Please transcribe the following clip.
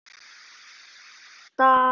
Er þetta.?